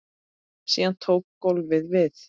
Síðan tók golfið við.